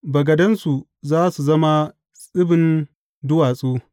Bagadansu za su zama tsibin duwatsu.